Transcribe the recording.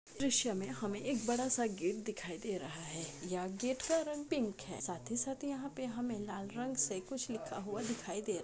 दृश्य में हमें एक बड़ा सा गेट दिखाई दे रहा है या गेट का रंग पिंक है साथ ही साथ यहाँ पे हमें लाल से कुछ लिखता हुआ दिखाई दे--